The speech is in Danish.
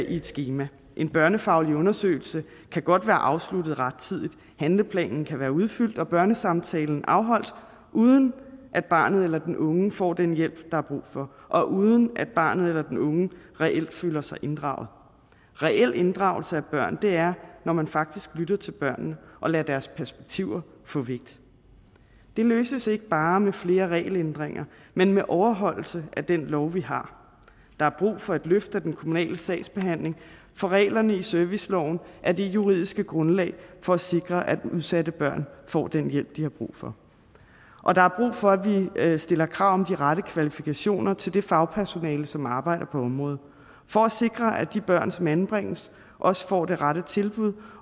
i et skema en børnefaglig undersøgelse kan godt være afsluttet rettidigt handleplanen kan være udfyldt og børnesamtalen afholdt uden at barnet eller den unge får den hjælp der er brug for og uden at barnet eller den unge reelt føler sig inddraget reel inddragelse af børn er når man faktisk lytter til børnene og lader deres perspektiv få vægt det løses ikke bare med flere regelændringer men med overholdelse af den lov vi har der er brug for et løft af den kommunale sagsbehandling for reglerne i serviceloven er det juridiske grundlag for at sikre at udsatte børn får den hjælp de har brug for og der er brug for at vi stiller krav om de rette kvalifikationer til det fagpersonale som arbejder på området for at sikre at de børn som anbringes også får det rette tilbud